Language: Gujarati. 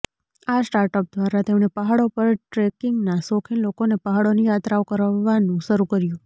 આ સ્ટાર્ટઅપ દ્વારા તેમણે પહાડો પર ટ્રેકિંગનાં શોખીન લોકોને પહાડોની યાત્રાઓ કરવવાનું શરૂ કર્યુ